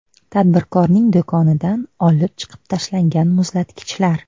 Tadbirkorning do‘konidan olib chiqib tashlangan muzlatgichlar.